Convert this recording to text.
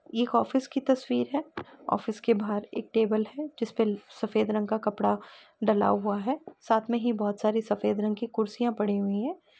ये एक ऑफिस की तस्वीर है| ऑफिस के बाहर एक टेबल है | जिसपे सफेद रंग का कपड़ा डला हुआ है साथ में ही बहुत सारी सफेद रंग की कुर्सियां पड़ी हुई हैं।